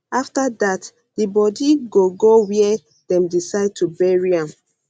afta dat di bodi go go wia dem decide to bury am